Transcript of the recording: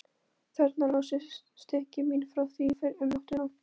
Þarna lágu stykki mín frá því fyrr um nóttina.